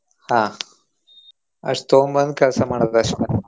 ಹಾ ಅಷ್ಟ್ ತಗೊಂಬಂದ್ ಕೆಲ್ಸಾ ಮಾಡೋದ ಅಷ್ಟ.